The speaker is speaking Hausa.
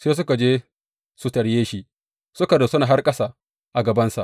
Sai suka je su tarye shi, suka rusuna har ƙasa a gabansa.